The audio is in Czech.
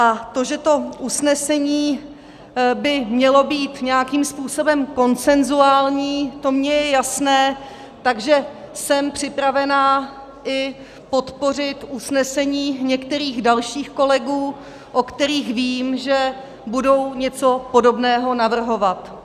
A to, že to usnesení by mělo být nějakým způsobem konsenzuální, to mně je jasné, takže jsem připravená i podpořit usnesení některých dalších kolegů, o kterých vím, že budou něco podobného navrhovat.